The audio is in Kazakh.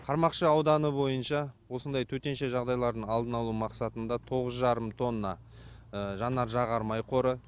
қармақшы ауданы бойынша осындай төтенше жағдайлардың алдын алу мақсатында тоғыз жарым тонна жанар жағармай қоры